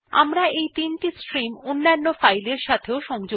আমরা এই ৩ টি স্ট্রিম অন্যান্য ফাইলের সাথে সংযুক্ত করতে পারি